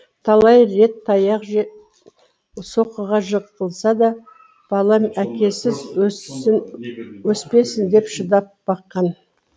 талай рет таяқ жеп соққыға жығылса да балам әкесіз өспесін деп шыдап баққан